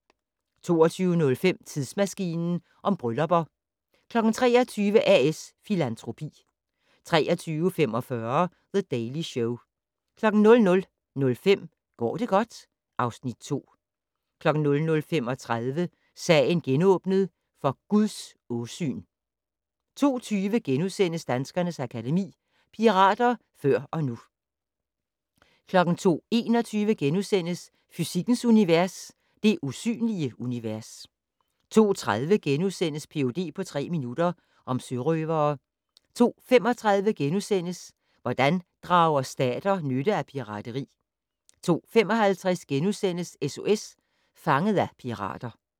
22:05: Tidsmaskinen om bryllupper 23:00: A/S Filantropi 23:45: The Daily Show 00:05: Går det godt? (Afs. 2) 00:35: Sagen genåbnet: For Guds åsyn 02:20: Danskernes Akademi: Pirater før og nu * 02:21: Fysikkens Univers: Det usynlige univers * 02:30: Ph.d. på tre minutter - om sørøvere * 02:35: Hvordan drager stater nytte af pirateri? * 02:55: SOS Fanget af pirater *